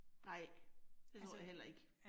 Nej, det tror jeg heller ikke